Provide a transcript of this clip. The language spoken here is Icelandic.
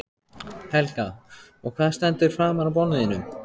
Helga: Og hvað stendur framan á bolnum þínum?